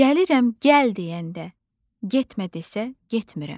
Gəlirəm gəl deyəndə, getmə desə, getmirəm.